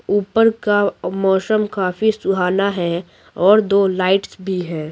ऊपर का मौसम काफी सुहाना है और दो लाइट्स भी --